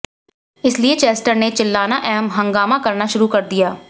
इसलिए चेस्टर ने चिल्लाना एवं हंगामा करना शुरू कर दिया